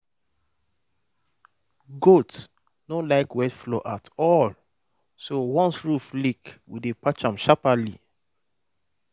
goat no like wet floor at all so once roof leak we dey patch am sharperly